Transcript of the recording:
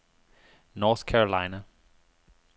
North Carolina